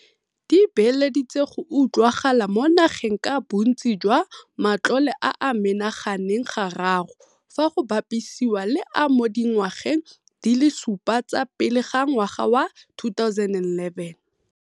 "di beeleditse go utlwagala mo nageng ka bontsi jwa matlole a a menaganeng ga raro fa go bapisiwa le a mo dingwageng di le supa tsa pele ga ngwaga wa 2011".